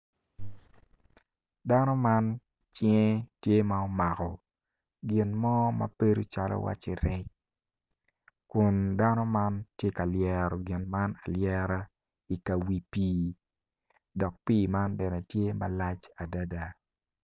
Dano man cinge tye ma omako gin mo ma bedi iwaci rec kun dano man tye ka lyero gin man alyera i ka wi pii man bene tye malac adada